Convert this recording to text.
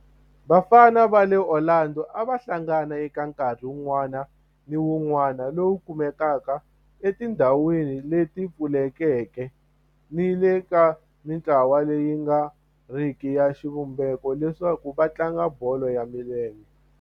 Vafana va le Orlando a va hlangana eka nkarhi wun'wana ni wun'wana lowu kumekaka etindhawini leti pfulekeke ni le ka mintlawa leyi nga riki ya xivumbeko leswaku va tlanga bolo ya milenge.